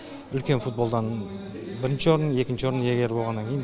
үлкен футболдан бірінші орын екінші орын иегері болғаннан кейін